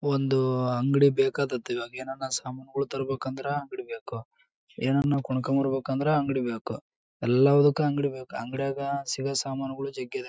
ಒಂದು ಅಂಗಡಿ ಬೇಕಾದ್ದದ್ ಈವಾಗ ಏನಾನ ಸಾಮಾನಗಳು ತರಬೇಕಂದ್ರೆ ಬಿಡಬೇಕು ಏನ್ನನ್ನು ಕೊಂಕೊಂಬರಬೇಕಂದ್ರೆ ಅಂಗಡಿ ಬೇಕು ಎಲ್ಲದಕ್ಕೂ ಅಂಗಡಿ ಬೇಕು ಅಂಗಡಿಯಾಗ್ ಸಿಗೋ ಸಾಮಾನುಗಳು ಸಿಕ್ಕಿದ್ದವು .